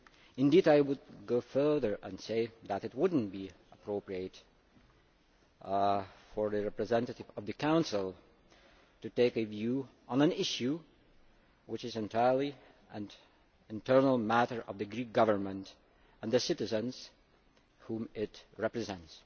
Indeed I would go further and say that it would not be appropriate for the representative of the Council to take a view on an issue which is entirely an internal matter for the Greek Government and the citizens whom it represents.